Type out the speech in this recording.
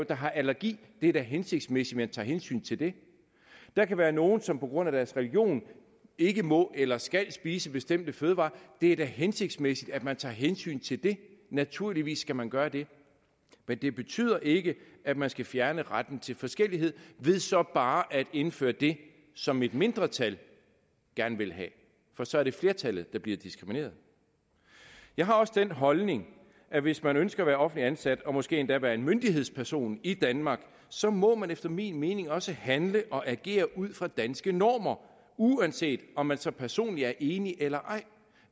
der har allergi det er da hensigtsmæssigt at man tager hensyn til det der kan være nogle som på grund af deres religion ikke må eller skal spise bestemte fødevarer det er da hensigtsmæssigt at man tager hensyn til det naturligvis skal man gøre det men det betyder ikke at man skal fjerne retten til forskellighed ved så bare at indføre det som et mindretal gerne vil have for så er det flertallet der bliver diskrimineret jeg har også den holdning at hvis man ønsker at være offentligt ansat og måske endda være en myndighedsperson i danmark så må man efter min mening også handle og agere ud fra danske normer uanset om man så personligt er enig eller ej